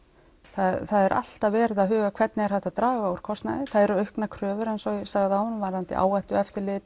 það er alltaf verið að huga hvernig er hægt að draga úr kostnaði það eru auknar kröfur eins og ég sagði áðan varðandi